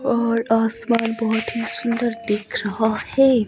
और आसमान बहुत ही सुंदर दिख रहा है।